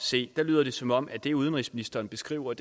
se lyder det som om at det udenrigsministeren beskriver